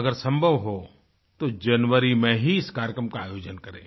अगर सम्भव हो तो जनवरी में ही इस कार्यक्रम का आयोजन करें